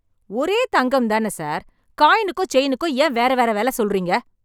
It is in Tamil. ஒரே தங்கம் தானே சார். காயினுக்கும் செயினுக்கும் ஏன் வேற வேற விலை சொல்றீங்க?